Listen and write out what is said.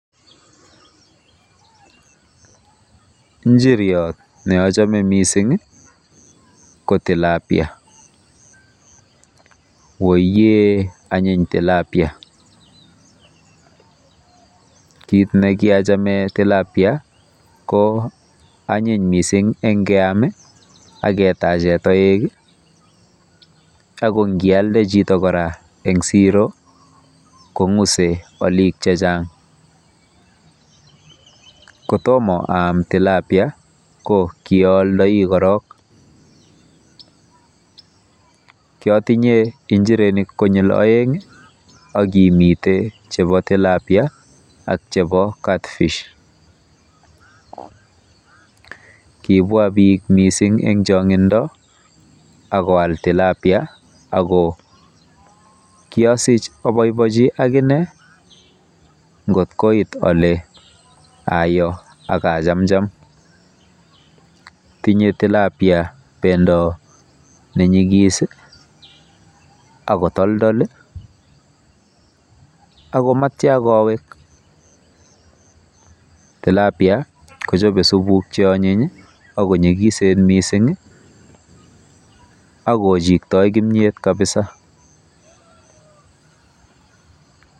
Njiriot neochome mising ko Tilapia. Woiyee anyiny TILAPIA. Kit nekiachame TILAPIA ko anyiny mising keam akoimuch ketachei toek ako ngialde chito kora eng siro kong'use olik chechang. Kotomo aam TILAPIA ko kiooldoi korok. Kiotinye njirenik konyil oeng akimitei chebo TILAPIA akimitei chekibo CATFISH. Kibwa bik mising eng chongindo akoal TILAPIA ako kiasich aboibochi akine ngotkoit ale ayo akachamcham. Tinyei TILAPIA bendo nenyikis akotoldol akomatia kowek. TILAPIA kochobei supuk cheonyiny akonyikisen mising akochiktoi kimnyet kabisa.